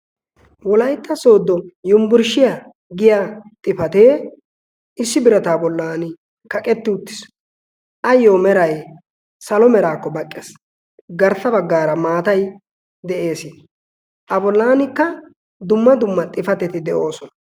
wolaytta soodo yumbburshshiyaa giya xifatee issi birataa bollan kaqetti uttiis. ayyo meray salo meraakko baqqees garssa baggaara maatai de'ees a bolaankka dumma dumma xifateti de'oosona